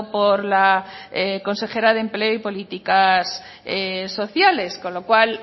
por la consejera de empleo y políticas sociales con lo cual